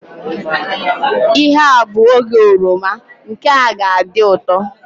Ihe a bụ oge oroma, nke a ga adị ụtọ